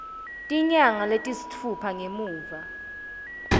tinyanga letisitfupha ngemuva